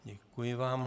Děkuji vám.